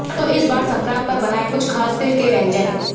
तो इस बार संक्रांत पर बनाएं कुछ खास तिल के व्यंजन